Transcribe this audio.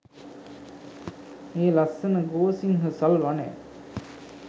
මේ ලස්සන ගෝසිංහ සල් වනය